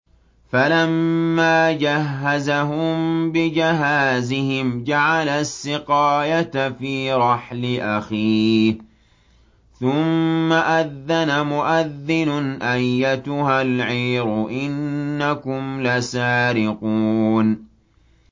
فَلَمَّا جَهَّزَهُم بِجَهَازِهِمْ جَعَلَ السِّقَايَةَ فِي رَحْلِ أَخِيهِ ثُمَّ أَذَّنَ مُؤَذِّنٌ أَيَّتُهَا الْعِيرُ إِنَّكُمْ لَسَارِقُونَ